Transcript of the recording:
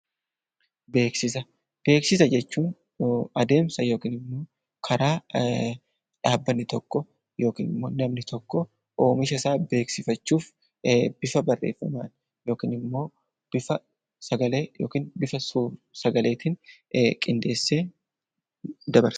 Beeksisa Beeksisa jechuun adeemsa yookiinimmoo karaa dhaabbanni tokko yookinimmoo namni tokko oomishasaa beeksifachuuf bifa barreeffaman yookinimmoo bifa sursagaleetiin qindeessee dabarsudha.